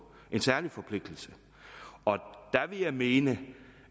en særlig forpligtelse der vil jeg mene